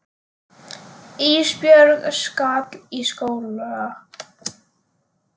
Ísbjörg skal í skóla.